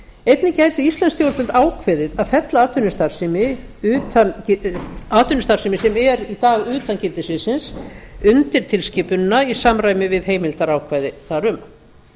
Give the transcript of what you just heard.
einnig geta íslensk stjórnvöld ákveðið að fella atvinnustarfsemi sem er í dag utan gildissviðsins undir tilskipunina í samræmi við heimildarákvæði þar um